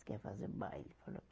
Se quer fazer baile falou.